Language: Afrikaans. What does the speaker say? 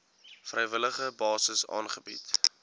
vrywillige basis aangebied